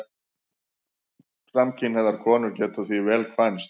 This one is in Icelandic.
Samkynhneigðar konur geta því vel kvænst.